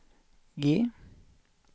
G